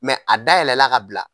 a dayɛlɛla ka bila.